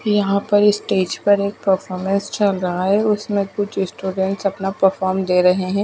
यहां पर स्टेज पर एक परफॉर्मेंस चल रहा है उसमें कुछ स्टूडेंट्स अपना परफॉर्म दे रहे हैं।